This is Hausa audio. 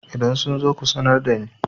idan sun zo ku sanar da ni?